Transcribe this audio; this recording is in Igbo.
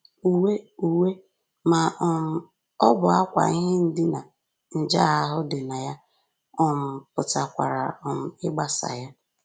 Uwe Uwe ma um ọ bụ ákwà ihe ndina nje ahụ dị na ya um pụkwara um ịgbasa ya